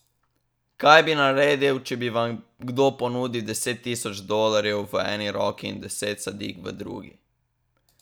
Kaj bi naredili, če bi vam kdo ponudil deset tisoč dolarjev v eni roki in deset sadik v drugi?